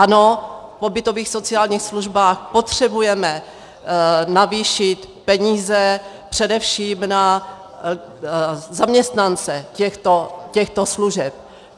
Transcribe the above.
Ano, v pobytových sociálních službách potřebujeme navýšit peníze především na zaměstnance těchto služeb.